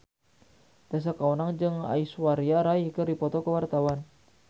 Tessa Kaunang jeung Aishwarya Rai keur dipoto ku wartawan